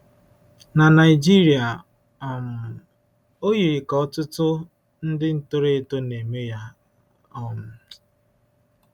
Na Naịjirịa, um o yiri ka ọtụtụ ndị toro eto na-eme ya. um